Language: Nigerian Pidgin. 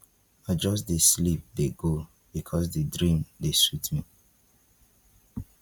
i just dey sleep dey go because di dream dey sweet me